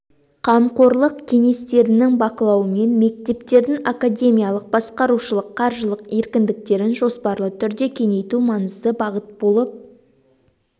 қамқорлық кеңестерінің бақылауымен мектептердің академиялық басқарушылық қаржылық еркіндіктерін жоспарлы түрде кеңейту маңызды бағыт болып